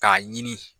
K'a ɲini